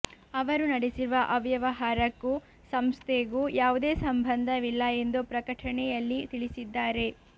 ಅವರು ನಡೆಸಿರುವ ಅವ್ಯವಹಾರಕ್ಕೂ ಸಂಸ್ಥೆಗೂ ಯಾವುದೇ ಸಂಬಂಧವಿಲ್ಲ ಎಂದು ಪ್ರಕಟಣೆಯಲ್ಲಿ ತಿಳಿಸಿದ್ದಾರೆ